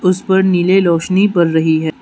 उस पर नीले लोशनी पड़ रही है।